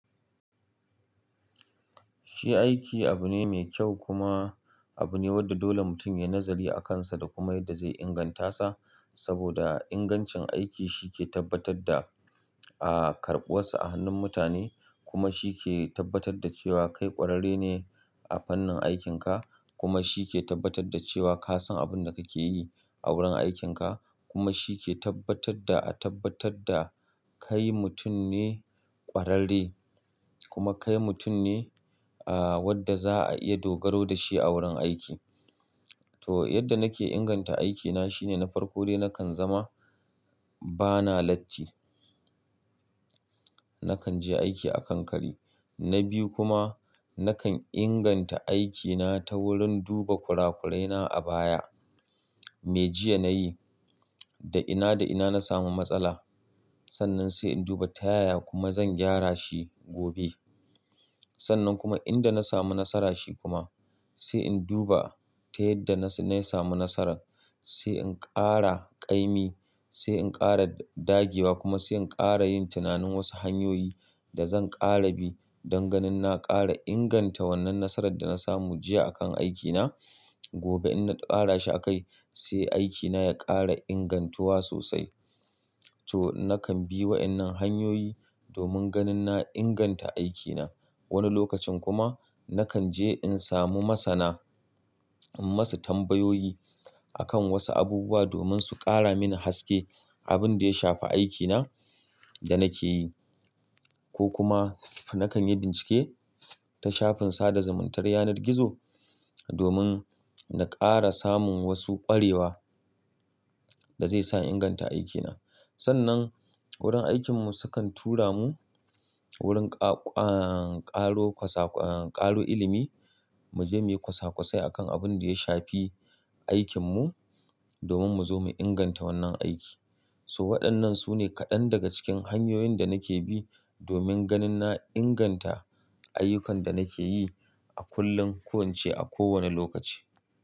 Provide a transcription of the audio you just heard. Shi aiki abu ne mai kyau kuma abu ne wanda dole mutum ya yi nazari akansa, da kuma yadda zai inganta sa. Saboda ingancin aiki shi ke tabbatar da, a karbuwarsa a hannun mutane kuma shi ke tabbatar da cewa kai ƙwararre ne a fannin aikinka. Kuma shi ke tabbatar da cewa ka san abin da kake yi a wurin aikinka. Kuma shi ke tabbatar da a tabbatar da kai mutum ne ƙwararre kuma kai mutum ne a wadda za a iya dogaro da shi a wurin aiki. To, yadda nake inganta aikina shine na farko dai nakan zama bana latti. Nakan je aiki a kanƙare. Na biyu kuma nakan inganta aikina ta wurin duba kurakurai na a baya. Me jiya nayi? Da ina da ina na samu matsala? Sannan sai in duba ta yaya kuma zan gyara shi gobe. Sannan kuma inda na samu nasara shi kuma sai in duba ta yadda na samu nasarar. Sai in ƙara ƙaimi, sai in ƙara dagewa kuma sai in ƙara yin tunanin wasu hanyoyi da zan ƙara bi don ganin na ƙara inganta wannan nasarar da na samu jiya akan aikina. Gobe in na ƙara shi a kai sai aikina ya ƙara ingantuwa sosai. To, nakan bi wa'innan hanyoyi domin ganin na inganta aikina. Wani lokacin kuma nakan je in samu masana, in masu tambayoyi akan wasu abubuwa domin su ƙara mini haske abin da ya shafi aikina da nake yi. Ko kuma nakan yi bincike ta shafin sada zumuntar yanar gizo domin na ƙara samun wasu ƙwarewa da zai sa in inganta aikina. Sannan wurin aikinmu sukan tura mu wurin ƙa-ƙa-ƙaro kwasak-- ƙaro ilimi mu je muyi kwasakwasai akan abin da ya shafi aikinmu domin mu zo mu inganta wannan aiki. So, waɗannan su ne kaɗan daga cikin hanyoyin da nake bi domin ganin na inganta ayyukan da nake yi a kullum, koyin ci a kowane lokaci.